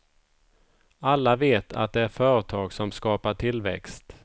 Alla vet att det är företag som skapar tillväxt.